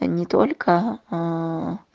не только аа